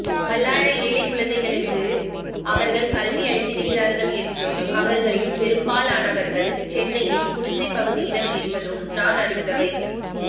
பல்லாயிரம் ஏழைக்குழந்தைகளுக்கு அவர்கள் கல்வியளித்திருக்கிறார்கள் என்றும் அவர்களில் பெரும்பாலானவர்கள் சென்னையின் குடிசைப்பகுதியினர் என்பதும் நான் அறிந்தவை